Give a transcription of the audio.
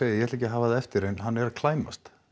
ég ætla ekki að hafa það eftir en hann er að klæmast